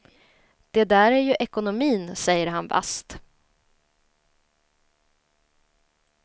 Det där är ju ekonomin, säger han vasst.